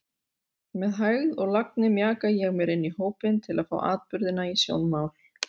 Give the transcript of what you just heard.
Með hægð og lagni mjaka ég mér inní hópinn til að fá atburðina í sjónmál.